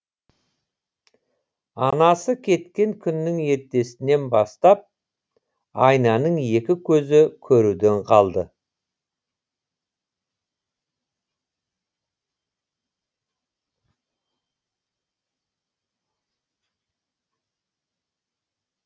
анасы кеткен күннің ертесінен бастап айнаның екі көзі көруден қалды